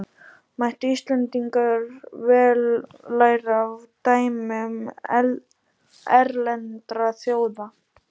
Mættu Íslendingar vel læra af dæmum erlendra þjóða.